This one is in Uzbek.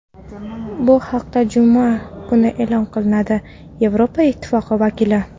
bu haqIda juma kuni e’lon qilinadi – Yevropa Ittifoqi vakili.